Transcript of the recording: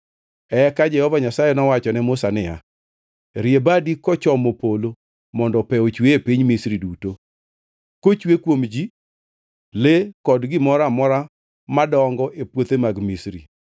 Eka Jehova Nyasaye nowacho ne Musa niya, “Rie badi kochomo polo mondo pe ochwe e piny Misri duto; kochwe kuom ji, le kod gimoro amora madongo e puothe mag Misri.”